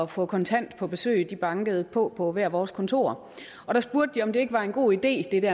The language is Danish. få kontant på besøg de bankede på på hvert af vores kontorer og spurgte om det ikke var en god idé